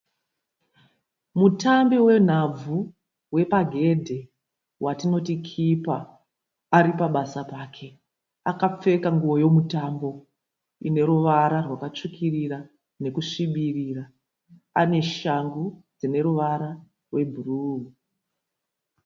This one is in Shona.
Mutambi wenhabvu wepagedhi watinoti kipa aripabasa pake, akapfeka nguwo yemutambo inoruvara rwakasvukirira nekusvibirira, aneshangu dzineruvara rwebhuru